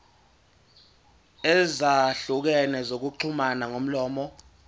ezahlukene zokuxhumana ngomlomo